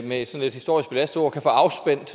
med sådan et historisk belastet ord kan få afspændt